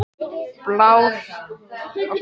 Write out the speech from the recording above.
Blár: Vændi er löglegt en ekki undir eftirliti.